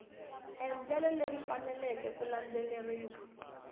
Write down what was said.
endlelo leri faneleke ku landzeleriwa